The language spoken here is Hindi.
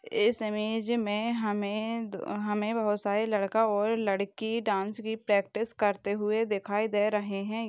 इस इमेज मे हमे हमे बहुत सारे लड़का और लड़की डांस की प्रैक्टिस करते हुए दिखाई दे रहे है।